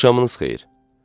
Axşamınız xeyir.